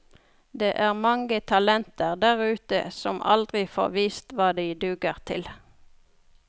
Det er mange talenter der ute som aldri får vist hva de duger til.